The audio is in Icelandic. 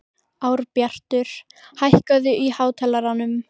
Árbjartur, hækkaðu í hátalaranum.